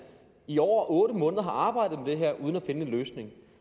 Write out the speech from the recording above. i over otte måneder har arbejdet med det her uden at finde en løsning